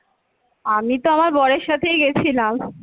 আমি তো আমার বরের সাথেই গেছিলাম।